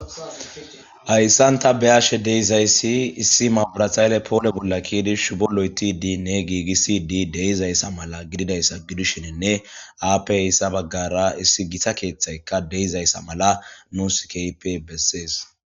Hayissan ta be'ashe dizzayisi issi mabirate hayiley poole bolla keyidi shubbo lo'eththidinne gigisidi de'izzaysa mala gidzayisa giddishinne happe hayssa baggara issi gitta kththeayika de'izayisa mala nusi kehippe besses.